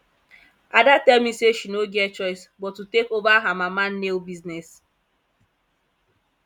ada tell me say she no get choice but to take over her mama nail business